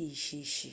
èyí ṣe é ṣe